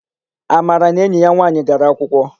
Amara na enyi ya nwaanyị gara akwụkwọ.